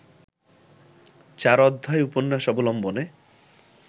চার অধ্যায় উপন্যাস অবলম্বনে